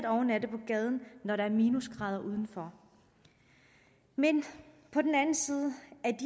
overnatte på gaden når der er minusgrader udenfor men